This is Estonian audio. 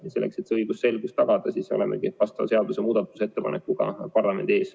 Just selleks, et õigusselgus tagada, olemegi selle seaduse muutmise ettepanekuga parlamendi ees.